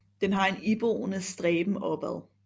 Den har en iboende stræben opad